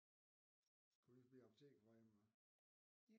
Skal vi på apoteket på vej hjem eller hvad